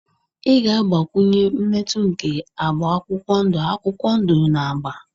Ị ga-agbakwunye mmetụ nke agba akwụkwọ ndụ akwụkwọ ndụ na agba.